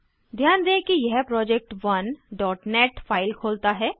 ध्यान दें कि यह project1नेट फाइल खोलता है